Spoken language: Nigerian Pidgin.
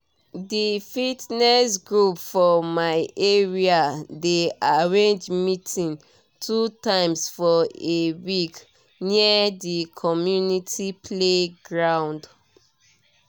di fitness group for my area dey arrange meeting two times for a week near di community playground